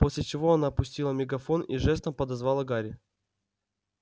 после чего она пустила мегафон и жестом подозвала гарри